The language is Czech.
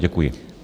Děkuji.